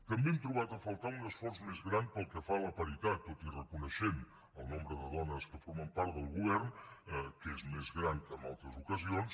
també hem trobat a faltar un esforç més gran pel que fa a la paritat tot i reconèixer el nombre de dones que formen part del govern que és més gran que en altres ocasions